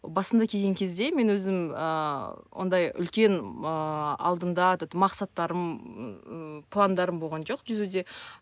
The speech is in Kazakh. басында келген кезде мен өзім ыыы ондай үлкен ыыы алдында этот мақсаттарым ыыы пландарым болған жоқ жүзуде